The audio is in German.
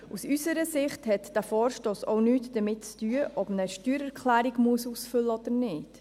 Aus unserer Sicht hat dieser Vor stoss auch nichts damit zu tun, ob man eine Steuererklärung ausfüllen muss oder nicht.